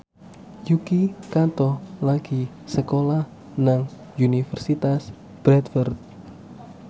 Yuki Kato lagi sekolah nang Universitas Bradford